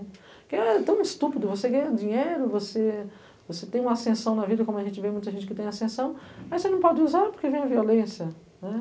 Porque é tão estúpido, você ganha dinheiro, você você tem uma ascensão na vida, como a gente vê muita gente que tem ascensão, mas você não pode usar porque vem a violência, né?